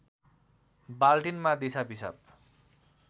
बाल्टिनमा दिसा पिसाब